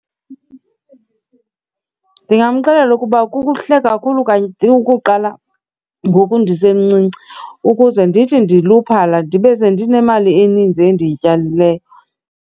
Ndingamxelela ukuba kuhle kakhulu kanye ukuqala ngoku ndisemncinci ukuze ndithi ndiluphala ndibe sendinemali eninzi endiyityalileyo.